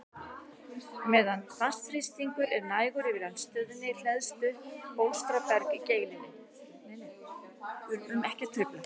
Meðan vatnsþrýstingur er nægur yfir eldstöðinni hleðst upp bólstraberg í geilinni.